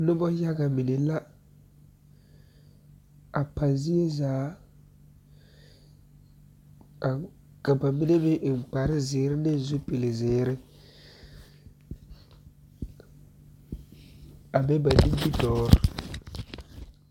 Noba yaga mine la a pa zie zaa ka ba mine meŋ eŋ kpar zeere ne zupile zeere a be ba nimitɔɔre